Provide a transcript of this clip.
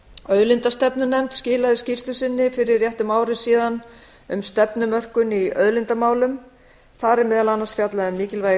auðlindastefnunefnd skilaði skýrslu sinni fyrir rétt um ári síðan um stefnumörkun í auðlindamálum þar er meðal annars fjallað um mikilvægi þess